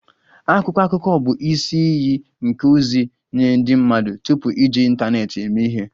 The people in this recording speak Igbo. Akwụkwọ akụkọ bụ isi iyi nke ozi nye ndị mmadụ tupu iji ịntanetị eme ihe